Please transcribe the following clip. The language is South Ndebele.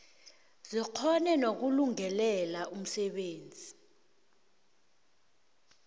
zikghone nokulungelela umsebenzi